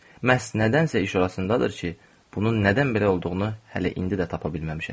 Məhz nədənsə iş orasındadır ki, bunun nədən belə olduğunu hələ indi də tapa bilməmişəm.